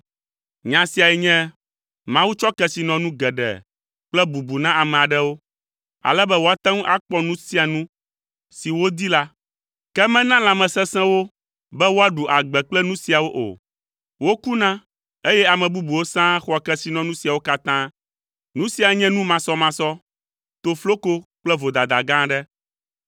Nya siae nye Mawu tsɔ kesinɔnu geɖe kple bubu na ame aɖewo, ale be woate ŋu akpɔ nu sia nu si wodi la, ke mena lãmesesẽ wo be woaɖu agbe kple nu siawo o. Wokuna, eye ame bubuwo sãa xɔa kesinɔnu siawo katã! Nu sia nye nu masɔmasɔ, tofloko kple vodada gã aɖe.